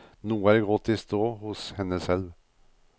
Noe er gått i stå hos henne selv.